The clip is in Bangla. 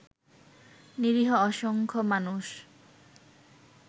নিরীহ অসংখ্য মানুষ